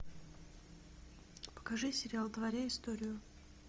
покажи сериал творя историю